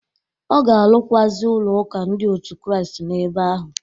Ọ ga-arụkwụazị ụlọ ụka ndị otu Kristi n'ebe ahụ.